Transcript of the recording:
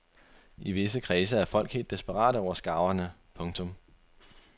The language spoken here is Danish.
I visse kredse er folk helt desperate over skarverne. punktum